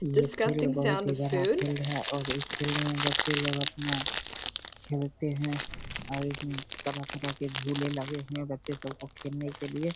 ये फील्ड बहुत ही बड़ा फील्ड है इस फील्ड में बच्चे लोग अपना खेलते हैं और इसमें तरह-तरह के झूले लगे हुए हैं बच्चे सब को खेलने के लिए।